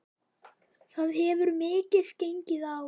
Það hefur mikið gengið á.